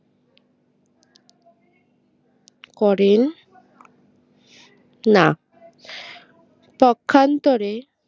করেন না তখ্যান্তরে